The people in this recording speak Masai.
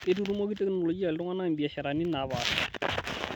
Keitutumoki technolojia ltung'ana mbiasharani naapasha